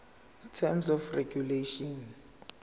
terms of regulation